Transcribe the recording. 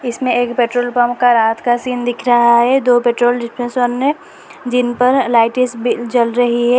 इसमें एक petrol pump का रात का सीन दिख रहा है दो पेट्रोल जिनपर लाइटिस भी जल रही है।